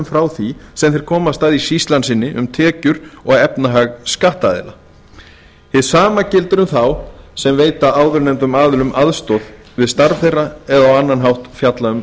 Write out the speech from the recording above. frá því sem þeir komast að í sýslan sinni um tekjur og efnahag skattaðila hið sama gildir um þá sem veita áðurnefndum aðilum aðstoð við starf þeirra eða á annan hátt fjalla um